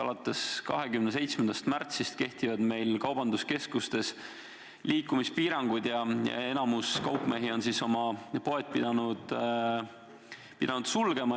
Alates 27. märtsist kehtivad meil kaubanduskeskustes liikumispiirangud ja enamik kaupmehi on oma poed pidanud sulgema.